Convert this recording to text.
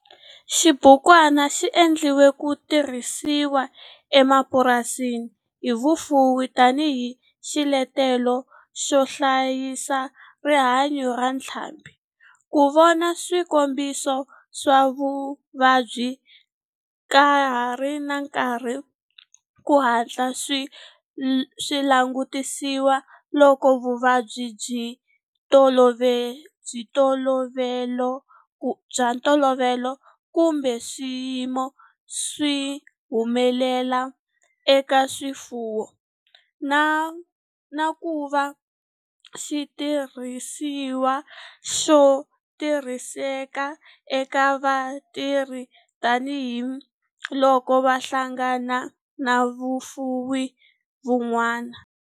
Xibukwana xi endliwe ku tirhisiwa emapurasini hi vafuwi tani hi xiletelo xo hlayisa rihanyo ra ntlhambhi, ku vona swikombiso swa vuvabyi ka ha ri na nkarhi ku hatla swi langutisiwa loko vuvabyi bya ntolovelo kumbe swiyimo swi humelela eka swifuwo, na ku va xitirhisiwa xo tirhiseka eka vatirhi tani hi loko va hlangana na vafuwi van'wana.